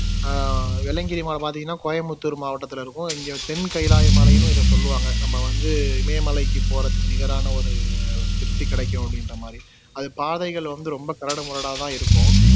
அஹ் வெள்ளையங்கிரி மலை பாத்திங்கன்னா கோயம்புத்தூர் மாவட்டத்துல இருக்கும் இங்க தெங்கைலாய மலைன்னும் இத சொல்லுவாங்க நம்ப வந்து இமயமலைக்கு போறதுக்கு நிகரான ஒரு திருப்தி கிடைக்கும் அப்படின்ற மாதிரி அது பாதைகள் வந்து ரொம்ப கரடுமுரடா தான் இருக்கும்